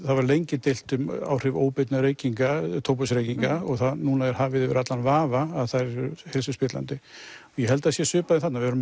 það var lengi deilt um áhrif óbeinna reykinga tóbaksreykinga og núna er hafið yfir allan vafa að þær eru heilsuspillandi ég held að það sé svipað þarna við